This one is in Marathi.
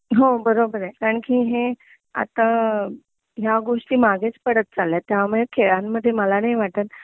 हो बरोबर आहे कारण कि हे आता ह्या गोष्टी मागेच पडत चालेल्या आहेत त्यामुळे खेळांमध्ये मला नाही वाटत